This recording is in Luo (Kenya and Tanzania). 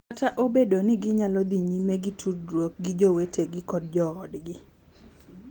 Kata obedo ni ginyalo dhi nyime gi tudruok gi jowetegi kod joodgi .